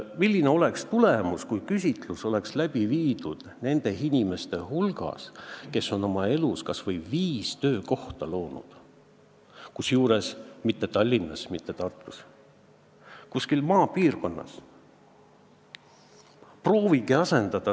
Milline oleks tulemus, kui küsitlus oleks tehtud nende inimeste hulgas, kes on oma elus kas või viis töökohta loonud, kusjuures mitte Tallinnas, mitte Tartus, vaid kuskil maapiirkonnas?